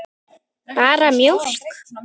Bara mjólk.